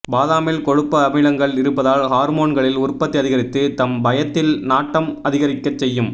பாதாமில் கொழுப்பு அமிலங்கள் இருப்பதால் ஹார்மோன்களின் உற்பத்தி அதிகரித்து தம்பயத்தில் நாட்டம் அதிகரிக்க செய்யும்